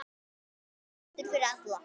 Menntun fyrir alla.